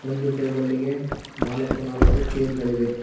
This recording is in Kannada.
ಒಂದು ಟೇಬಲಿಗೆ ನಾಲಕ್ಕು ನಾಲಕ್ಕು ಚೇರ್ ಗಳಿವೆ.